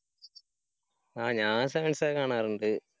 ആ ഞാൻ Sevens ഒക്കെ കാണാറുണ്ട്.